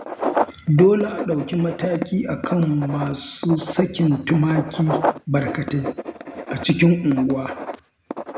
Dole a ɗauki mataki a kan masu sakin tumaki barkatai a cikin unguwa